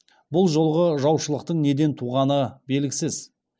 бұл жолғы жаушылықтың неден туғаны белгісіз